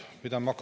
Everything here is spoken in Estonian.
Ei midagi muud.